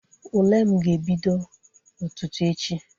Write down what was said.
Ule m ga-ebido ụtụtụ echi.